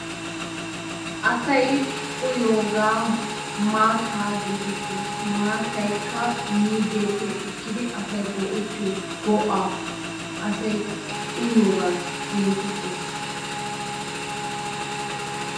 Asayi uyiyogaa maattaa geetettes. Maataykka miizzeeppe ekkidi asayi go'ettiyo go'aa asayi asayi uyiyogaa geetettes.